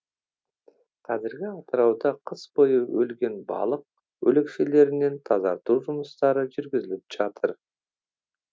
қазіргі атырауда қыс бойы өлген балық өлекселерінен тазарту жұмыстары жүргізіліп жатыр